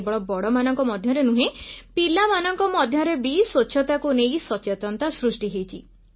କେବଳ ବଡ଼ମାନଙ୍କ ମଧ୍ୟରେ ନୁହେଁ ପିଲାମାନଙ୍କ ମଧ୍ୟରେ ବି ସ୍ୱଚ୍ଛତାକୁ ନେଇ ସଚେତନତା ସୃଷ୍ଟି ହୋଇଛି